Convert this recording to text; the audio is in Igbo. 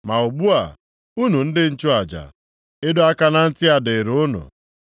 “Ma ugbu a, unu ndị nchụaja, ịdọ aka na ntị a dịrị unu.